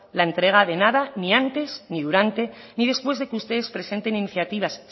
la entrega de nada ni antes ni durante ni después de que ustedes presenten iniciativas